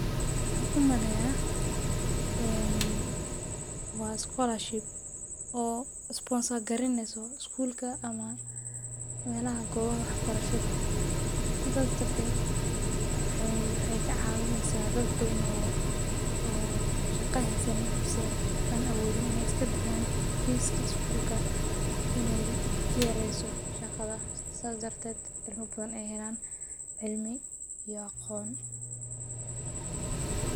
Waxaan umaleeya waa iskuul ama meelaha wax barshada waxaay ka cawineysa dad badan aan shaqa haysanin oo aan iska bixin karin lacagta sidaas adretewd aay helaan cilmi iyo aqoon.